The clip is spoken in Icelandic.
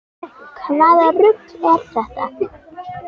Hvaða rugl er þetta??